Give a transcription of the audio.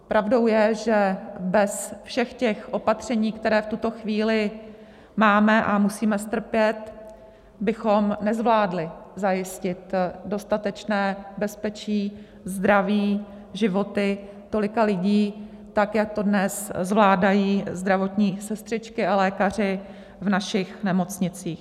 Pravdou je, že bez všech těch opatření, která v tuto chvíli máme a musíme strpět, bychom nezvládli zajistit dostatečné bezpečí, zdraví, životy tolika lidí tak, jak to dnes zvládají zdravotní sestřičky a lékaři v našich nemocnicích.